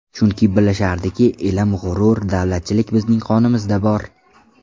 Chunki bilishardiki, ilm, g‘urur, davlatchilik bizning qonimizda bor.